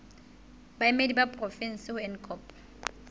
baemedi ba porofensi ho ncop